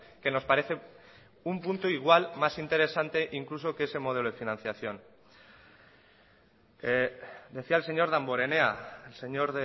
que nos parece un punto igual más interesante incluso que ese modelo de financiación decía el señor damborenea señor